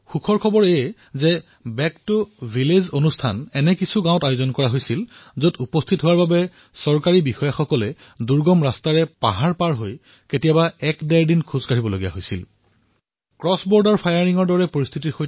সন্তোষৰ কথা এয়েই যে বেক টু ভিলেজ কাৰ্যসূচীৰ আয়োজন এনে দূৰদুৰণিৰ গাঁৱত কৰা হৈছিল যত চৰকাৰী বিষয়াসকলে দুৰ্গম পথেৰে পাহাৰ বগাই কেতিয়াবা এদিন দুদিন খোজ কাঢ়ি উপস্থিত হবলগীয়া হৈছিল